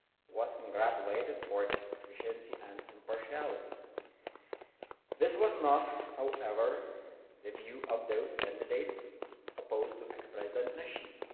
was congratulated for its efficiency and impartiality. This was not, however, the view of those candidates opposed to ex President Nasheed.